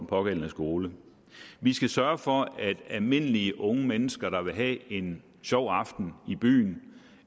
pågældende skole vi skal sørge for at almindelige unge mennesker der vil have en sjov aften i byen